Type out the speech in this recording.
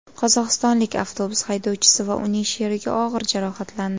Qozog‘istonlik avtobus haydovchisi va uning sherigi og‘ir jarohatlandi.